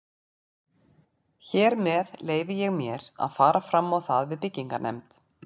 Hér með leyfi ég mér, að fara fram á það við byggingarnefnd